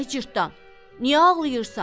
Ay cırtdan, niyə ağlayırsan?